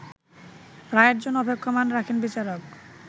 রায়ের জন্য অপেক্ষমাণ রাখেন বিচারক